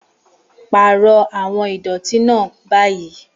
Pààrọ̀ àwọn ìdọ̀tí náà báyìí